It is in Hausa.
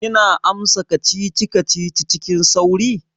Kina amsa kacici-kacici cikin sauƙi?